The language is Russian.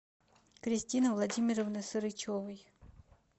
кристины владимировны сарычевой